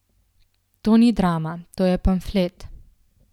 To ni drama, to je pamflet.